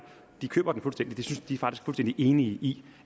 de køber den fuldstændig de er faktisk fuldstændig enige i